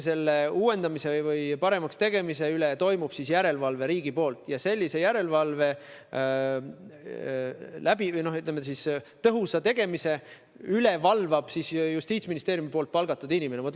Selle uuendamise või paremaks tegemise üle teostab järelevalvet riik ning järelevalve tõhusa tegemise üle valvab omakorda justiitsministeeriumi palgatud inimene.